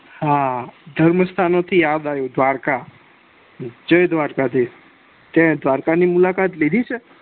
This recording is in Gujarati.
હા ધર્મ સ્થાનો થી યાદ આવ્યું દ્વારકા જય દ્વારકાધીસ તે દ્વારકા ની મુલાકાત લીધી છે